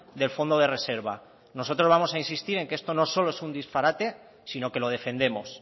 del fondo de reserva nosotros vamos a insistir en que esto no solo es un disparate sino que lo defendemos